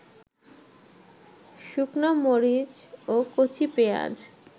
শুকনা-মরিচ ও কচি পেঁয়াজ